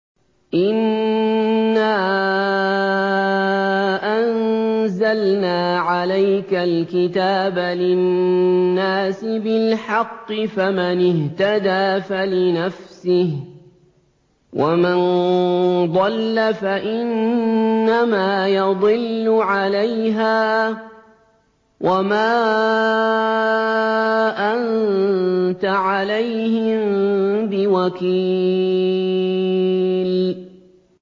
إِنَّا أَنزَلْنَا عَلَيْكَ الْكِتَابَ لِلنَّاسِ بِالْحَقِّ ۖ فَمَنِ اهْتَدَىٰ فَلِنَفْسِهِ ۖ وَمَن ضَلَّ فَإِنَّمَا يَضِلُّ عَلَيْهَا ۖ وَمَا أَنتَ عَلَيْهِم بِوَكِيلٍ